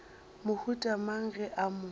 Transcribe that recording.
mohuta mang ge a mo